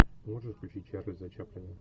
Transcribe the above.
можешь включить чарльза чаплина